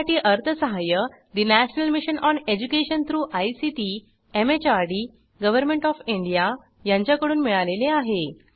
यासाठी अर्थसहाय्य national mission on education through ICT MHRD government O F India यांच्याकडून मिळालेले आहे